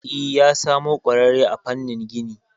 E, ya samo kwarare a famnin gini